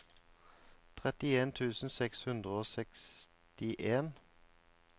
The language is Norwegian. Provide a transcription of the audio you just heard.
trettien tusen seks hundre og sekstien